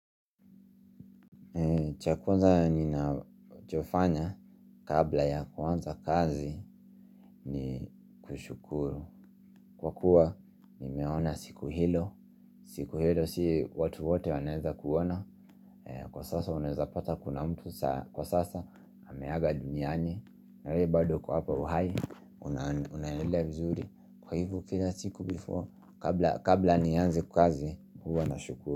Chakwanza ninajofanya kabla ya kwanza kazi ni kushukuru. Kwa kuwa nimeona siku hilo siku hilo si watu wote waneza kuona. Kwa sasa uneza pata kuna mtu. Kwa sasa hameaga duniani. Na we bado uko hapo uhai unaendelea vizuri. Kwa hivo kila siku before kabla nianze kazi huwa na shukuru.